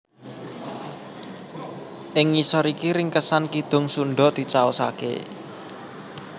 Ing ngisor iki ringkesan Kidung Sundha dicaosaké